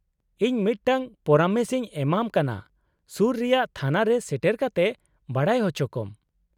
-ᱤᱧ ᱢᱤᱫᱴᱟᱝ ᱯᱚᱨᱟᱢᱮᱥ ᱤᱧ ᱮᱢᱟᱢ ᱠᱟᱱᱟ ᱥᱩᱨ ᱨᱮᱭᱟᱜ ᱛᱷᱟᱱᱟ ᱨᱮ ᱥᱮᱴᱮᱨ ᱠᱟᱛᱮ ᱵᱟᱰᱟᱭ ᱚᱪᱚᱠᱚᱢ ᱾